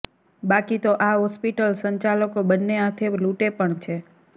બાકી તો આ હોસ્પિટલ સંચાલકો બન્ને હાથે લૂંટે પણ છે